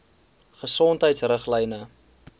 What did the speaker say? gesondheidriglyne